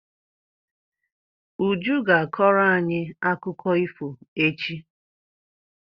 Uju ga-akọrọ anyi akụkọ ifo echi.